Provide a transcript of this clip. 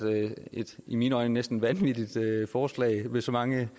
et i mine øjne næsten vanvittigt forslag med så mange